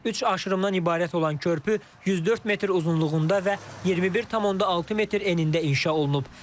Üç aşırımdan ibarət olan körpü 104 metr uzunluğunda və 21,6 metr enində inşa olunub.